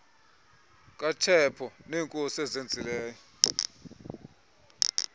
katshepo neekhosi azenzileyo